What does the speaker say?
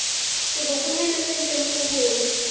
sebokonyana se ntseng se hola